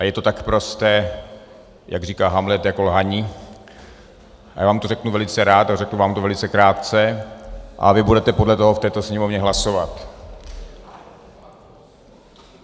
A je to tak prosté, jak říká Hamlet, jako lhaní, a já vám to řeknu velice rád a řeknu vám to velice krátce a vy budete podle toho v této sněmovně hlasovat.